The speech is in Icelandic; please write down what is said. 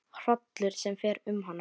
Hrollur fer um hana.